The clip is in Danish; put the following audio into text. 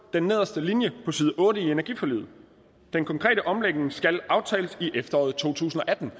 den nederste linje på side otte i energiforliget den konkrete omlægning skal aftales i efteråret to tusind og atten